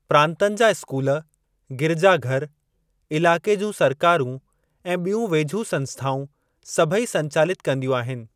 प्रांतनि जा स्‍कूल, गिरिजाघर, इलाके जूं सरकारूं ऐं ॿियूं वेझूं संस्‍थाउं, सभई संचालित कंदियूं आहिनि।